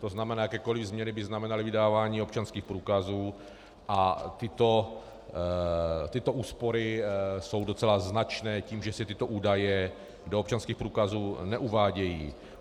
To znamená, jakékoli změny by znamenaly vydávání občanských průkazů a tyto úspory jsou docela značné tím, že se tyto údaje do občanských průkazů neuvádějí.